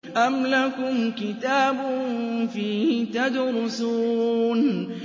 أَمْ لَكُمْ كِتَابٌ فِيهِ تَدْرُسُونَ